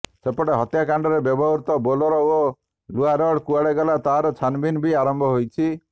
ସେପଟେ ହତ୍ୟାକାଣ୍ଡରେ ବ୍ୟବହୃତ ବୋଲେରୋ ଓ ଲୁହା ରଡ୍ କୁଆଡ଼େ ଗଲା ତାର ଛାନଭିନ୍ ବି ଆରମ୍ଭ ହୋଇଛି